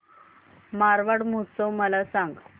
मारवाड महोत्सव मला सांग